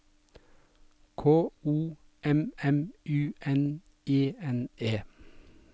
K O M M U N E N E